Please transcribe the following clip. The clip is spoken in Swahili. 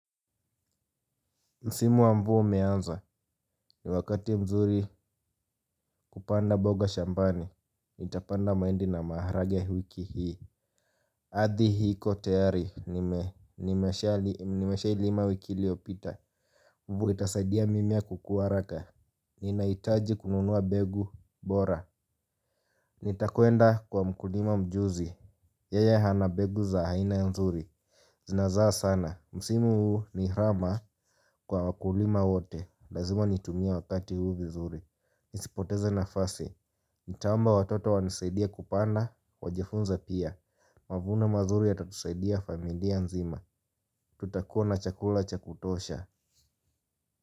Msimu wa mvua umeanza ni wakati mzuri kupanda mboga shambani, nitapanda mahindi na maharagwe wiki hii. Ardhi iko tayari, nimeshailima wiki iliopita, itasaidia mimie kukuwa haraka. Ninaitaji kununua mbegu bora. Nitakwenda kwa mkulima mjuzi, yeye ana mbegu za aina ya mzuri. Zinazaa sana, msimu huu ni raha kwa wakulima wote. Lazima nitumie wakati huu vizuri. Nisipoteze nafasi. Nitaomba watoto wanisaidie kupanda, wajifunze pia. Mavuno mazuri yatatusaidia familia nzima. Tutakuwa na chakula cha kutosha.